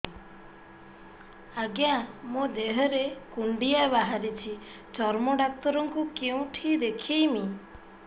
ଆଜ୍ଞା ମୋ ଦେହ ରେ କୁଣ୍ଡିଆ ବାହାରିଛି ଚର୍ମ ଡାକ୍ତର ଙ୍କୁ କେଉଁଠି ଦେଖେଇମି